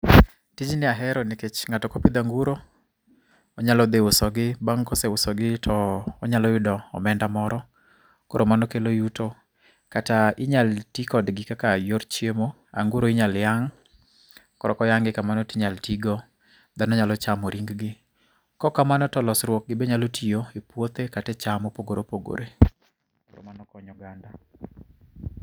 Tijni ahero nikech ng'ato kopidho anguro, onyalo dhi uso gi, bang' koseuso gi to, onyalo yudo omenda moro. Koro mano kelo yuto kata inyal tii kodgi kaka yor chiemo, anguro inyal yang'. Koro koyang'e kamano tinyal tigo. Dhano nyalo chamo ring gi. Kokamano to losruok gi be nyalo tiyo e puothe kate e cham mopogore opogore. Koro mano konyo oganda